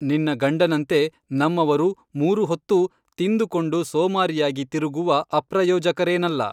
ನಿನ್ನ ಗಂಡನಂತೆ ನಮ್ಮವರು ಮೂರು ಹೊತ್ತೂ ತಿಂದುಕೊಂಡು ಸೋಮಾರಿಯಾಗಿ ತಿರುಗುವ ಅಪ್ರಯೋಜಕರೇನಲ್ಲ